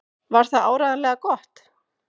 Var það áreiðanlega gott?